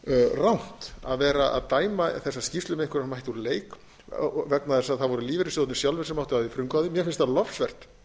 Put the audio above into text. rangt að vera að dæma þessa skýrslu með einhverjum hætti úr leik vegna þess að það voru lífeyrissjóðirnir sjálfir sem áttu af því frumkvæðið mér finnst það lofsvert